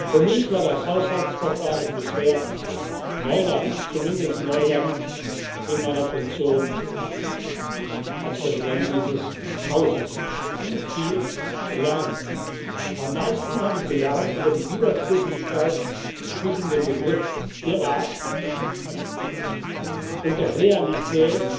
lassen Sie mich zum Abschluss feststellen Für mich war das Haushaltsverfahren bisher Neuland, zumindest Neuland in meiner Funktion als Präsident dieses Hauses. Ich habe viel gelernt. Am meisten habe ich gelernt über die Widersprüchlichkeit